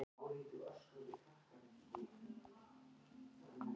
Umburðarlyndi var ekki í hávegum haft á þessum tímum.